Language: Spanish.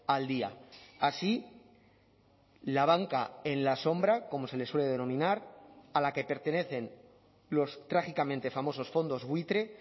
al día así la banca en la sombra como se le suele denominar a la que pertenecen los trágicamente famosos fondos buitre